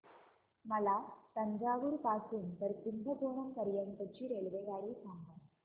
मला तंजावुर पासून तर कुंभकोणम पर्यंत ची रेल्वेगाडी सांगा